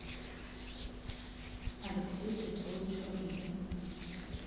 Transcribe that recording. алексей петрович ладыгин